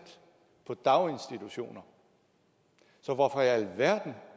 på daginstitutioner så hvorfor i alverden